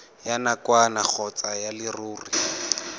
ya nakwana kgotsa ya leruri